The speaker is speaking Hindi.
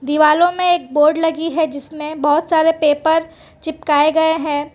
दीवालों में एक बोर्ड लगी है जिसमें बहोत सारे पेपर चिपकाए गए हैं।